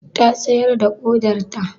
Ta sayar da ƙodarta?